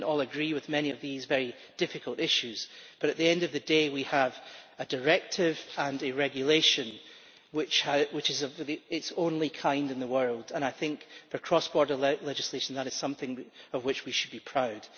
We did not all agree with many of these very difficult issues, but at the end of the day we have a directive and a regulation which is the only one of its kind in the world, and I think for cross border legislation, that is something of which we should be proud.